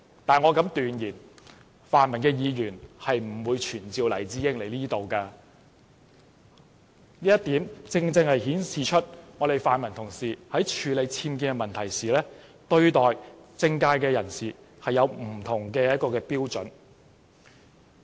但我敢斷言，泛民的議員不會傳召黎智英到立法會席前，這正顯示泛民同事在處理僭建的問題時，對待不同的政界人士有不同標準。